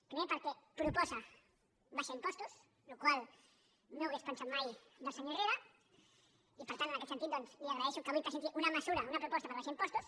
primer perquè proposa abaixar impostos la qual cosa no hauria pensat mai del senyor herrera i per tant en aquest sentit doncs li agraeixo que avui presenti una mesura una proposta per abaixar impostos